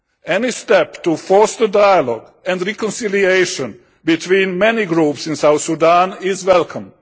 Any step to foster dialogue and reconciliation between many groups in South Sudan is welcome.